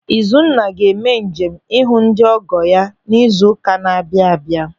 Izuna ga-eme njem ịhụ ndị ọgọ ya n'izu ụka na-abịa abịa.